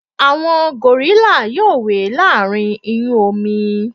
àwọn gòrílà yíò we láàrín iyun omi